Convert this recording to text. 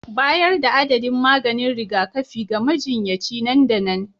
Bayar da adadin maganin rigakafi ga majinyaci nan da nan